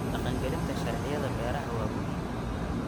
Dhaqangelinta sharciyada beeraha waa muhiim.